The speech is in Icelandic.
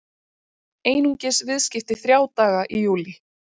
Einungis viðskipti þrjá daga í júlí